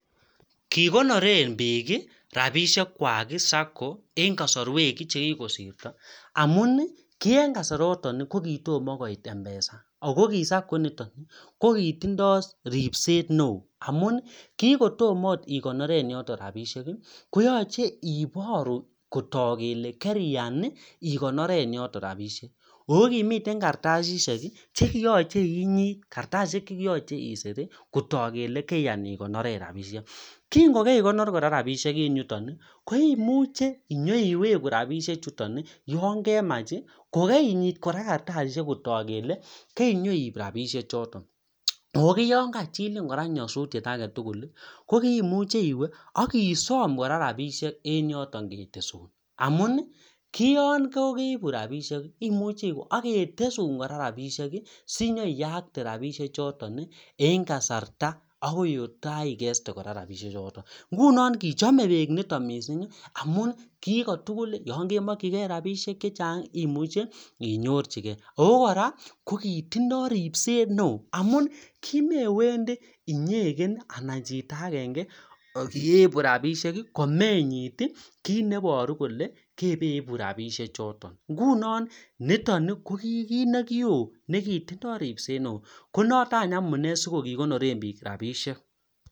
Kikonoren biik rapisiek Kwa Sako en kosorwek chekikosirto amun kien kasaroton kokitim koit mpsa Ako kisako initon kokitindoi ripset neo amun kingotom ot ikonoren yoto rapisiek koyoche iboru kotook kele keriyan igonoren yoton repisiek ako kimiten kartasisiek che kiyoche inyit kartasisiek chekiyoche isir kotook kele keriyan igonoren rapisiek kingokerigonor kora rapisiek en yutokoimuche inyoiwegu rapisiek chuton yon kemach kokerinyit kora kartasisiek kotook kele kerinyoib rapisichoton ako yon kachilin kora nyosutiet agetugul komuche iwe ak isom rapisiek en yoton ketesun amun kiyon kokeibu rapisiek imuchel iwe ak ketesun kora rapisiek sinyoiyakte rapisichoton en kasarta otagaigeste rapisichoton ingunon kochome biik niton mising amun kikotugul yon kemokyi gei rapisiek chechang imuchel inyorjigei ako kora kokitindoi ripset neo amun kimewendi inyekoe anan chito agenge ak ibu rapisiek komenyit kit neiboru kele kebeibu rapisiechoton nguno niton kokikit neo nekitindoi ripset neo konoton amune sikokikonoren biik rapisiek